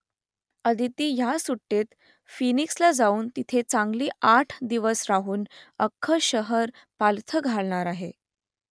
अदिती ह्या सुट्टीत फिनिक्सला जाऊन तिथे चांगली आठ दिवस राहून अख्खं शहर पालथं घालणार आहे